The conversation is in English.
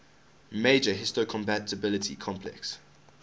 major histocompatibility complex